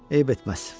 Eyib etməz.